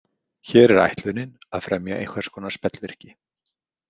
Hér er ætlunin að fremja einhvers konar spellvirki.